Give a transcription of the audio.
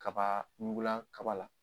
Kaba ɲugulan kaba la.